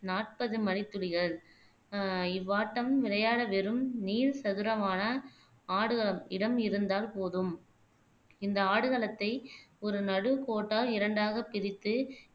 நாற்பது மணித்துளிகள் ஆஹ் இவ்வாட்டம் விளையாட வெறும் நீள் சதுரமான ஆடுகளம் இடம் இருந்தால் போதும் இந்த ஆடுகளத்தை ஒரு நடு கோட்டால் இரண்டாகப் பிரித்து